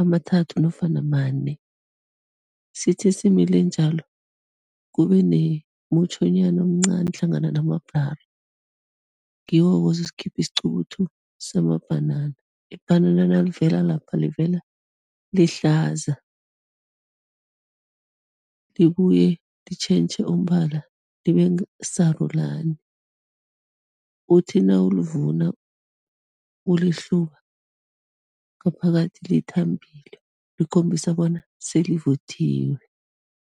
amathathu nofana mane, sithi simile njalo, kube nemutjhanyana omncani hlangana namabhulara, ngiwo-ke ozokukhipha isiqubuthu samabhanana. Ibhanana nalivela lapha, livela lihlaza, libuye litjentjhe umbala, libe sarulani, uthi nawulivuna, ulihluba, ngaphakathi lithambile likhombisa bona selivuthiwe.